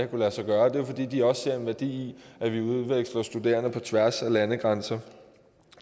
kunne lade sig gøre det er fordi de også ser en værdi i at vi udveksler studerende på tværs af landegrænser